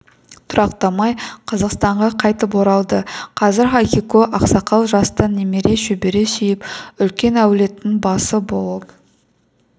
тұрақтамай қазақстанға қайтып оралады қазір ахико ақсақал жаста немере шөбере сүйіп үлкен әулеттің басы болып